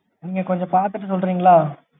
நீங்க கொஞ்சம் பாத்துட்டு சொல்றிங்களா?